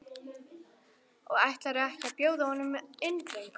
Og ætlarðu ekki að bjóða honum inn drengur?